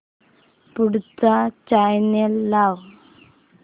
पुढचा चॅनल लाव